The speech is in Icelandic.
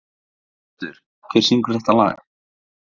Sigbjartur, hver syngur þetta lag?